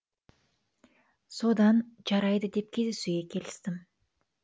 содан жарайды деп кездесуге келістім